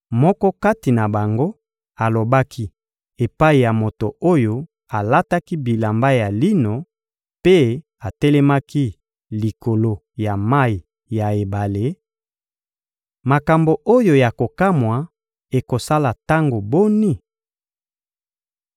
Moko kati na bango alobaki epai ya moto oyo alataki bilamba ya lino mpe atelemaki likolo ya mayi ya ebale: — Makambo oyo ya kokamwa ekosala tango boni?